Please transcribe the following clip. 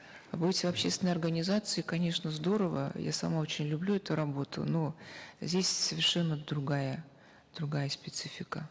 быть в общественной организации конечно здорово я сама очень люблю эту работу но здесь совершенно другая другая специфика